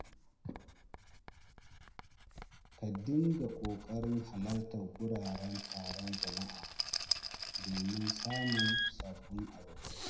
Ka dinga ƙoƙarin halartar wuraren taron jama’a domin samun sabbin abokai.